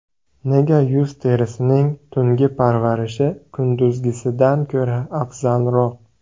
Nega yuz terisining tungi parvarishi kunduzgisidan ko‘ra afzalroq?.